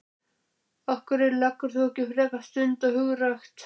Af hverju leggur þú ekki frekar stund á hundarækt?